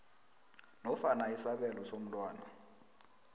nofana isabelo somntwana